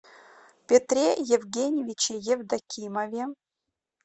петре евгеньевиче евдокимове